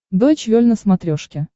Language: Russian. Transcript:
дойч вель на смотрешке